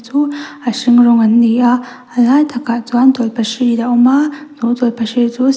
chu a hring rawng an ni a a lai takah chuan tawlhpahrit a awm a chu tawlhpahrit chu --